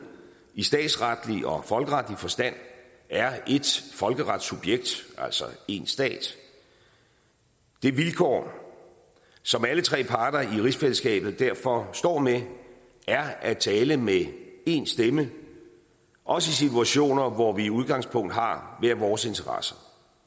i statsretlig og folkeretlig forstand er ét folkeretssubjekt altså én stat det vilkår som alle tre parter i rigsfællesskabet derfor står med er at tale med én stemme også i situationer hvor vi i udgangspunktet har hver vores interesser